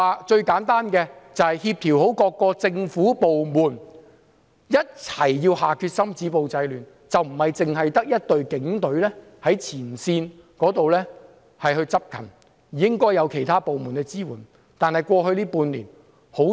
最簡單的例子是協調各政府部門一起下決心止暴制亂，不單只有警隊在前線執勤，亦應有其他部門支援。